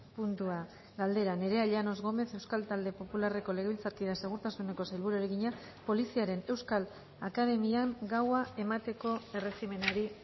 puntua galdera nerea llanos gómez euskal talde popularreko legebiltzarkideak segurtasuneko sailburuari egina poliziaren euskal akademian gaua emateko erregimenari